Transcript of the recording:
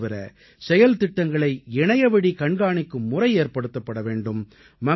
இதுதவிர செயல்திட்டங்களை இணையவழி கண்காணிக்கும் முறை ஏற்படுத்தப்பட வேண்டும்